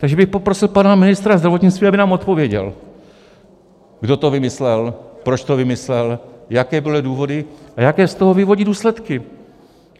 Takže bych poprosil pana ministra zdravotnictví, aby nám odpověděl, kdo to vymyslel, proč to vymyslel, jaké byly důvody a jaké z toho vyvodí důsledky.